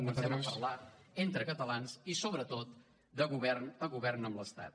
que comencem a parlar entre catalans i sobretot de govern a govern amb l’estat